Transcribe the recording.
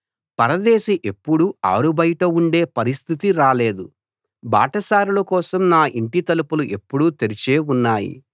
పరదేశి ఎప్పుడూ ఆరుబయట ఉండే పరిస్థితి రాలేదు బాటసారుల కోసం నా ఇంటి తలుపులు ఎప్పుడూ తెరిచే ఉన్నాయి